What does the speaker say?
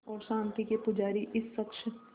और शांति के पुजारी इस शख़्स